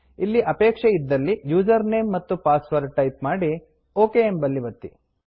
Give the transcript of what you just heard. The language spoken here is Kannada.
ಇಲ್ಲಿ ಅಪೇಕ್ಷೆ ಇದ್ದಲ್ಲಿ ಯೂಸರ್ ನೇಮ್ ಮತ್ತು ಪಾಸ್ವರ್ಡ್ ಟೈಪ್ ಮಾಡಿ ಒಕ್ ಎಂಬಲ್ಲಿ ಒತ್ತಿ